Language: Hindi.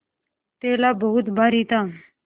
थैला बहुत भारी था